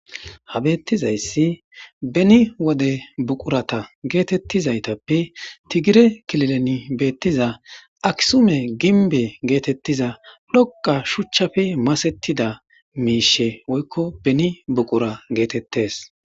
ha beettizayssi beni wode buqurata geetettizaytappe tigire kililen beettiza aksume ginbe geetettiza dhoqa shuchchafi masettida miishe woykko beni buqura geetettes